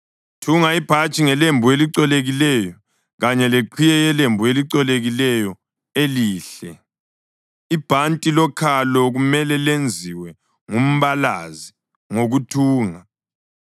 Thunga ibhatshi ngelembu elicolekileyo kanye leqhiye yelembu elicolekileyo, elihle. Ibhanti lokhalo kumele lenziwe ngumbalazi ngokuthunga.